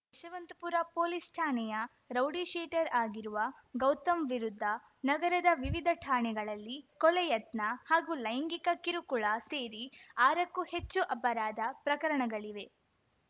Yeshwanthpur police ಠಾಣೆಯ rowdy sheeter ಆಗಿರುವ ಗೌತಮ್‌ ವಿರುದ್ಧ ನಗರದ ವಿವಿಧ ಠಾಣೆಗಳಲ್ಲಿ ಕೊಲೆ ಯತ್ನ ಹಾಗೂ ಲೈಂಗಿಕ ಕಿರುಕುಳ ಸೇರಿ ಆರಕ್ಕೂ ಹೆಚ್ಚು ಅಪರಾಧ ಪ್ರಕರಣಗಳಿವೆ